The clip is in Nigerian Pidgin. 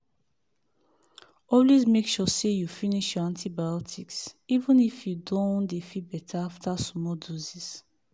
always make sure say you finish your antibiotics even if you don dey feel better after small doses.